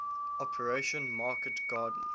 operation market garden